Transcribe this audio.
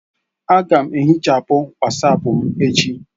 Aga m ehichapụ Wasapu m echi..